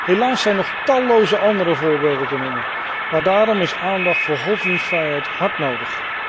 Helaas zijn nog talloze andere voorbeelden te noemen, maar daarom is aandacht voor godsdienstvrijheid hard nodig.